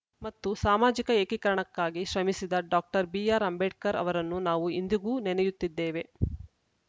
ಮತ್ತು ಸಾಮಾಜಿಕ ಏಕೀಕರಣಕ್ಕಾಗಿ ಶ್ರಮಿಸಿದ ಡಾಕ್ಟರ್ ಬಿಆರ್‌ ಅಂಬೇಡ್ಕರ್‌ ಅವರನ್ನು ನಾವು ಇಂದಿಗೂ ನೆನೆಯುತ್ತಿದ್ದೇವೆ